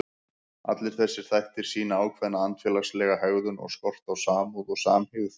Allir þessir þættir sýna ákveðna andfélagslega hegðun og skort á samúð og samhygð.